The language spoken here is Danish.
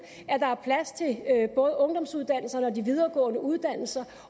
at der er plads til både ungdomsuddannelserne og de videregående uddannelser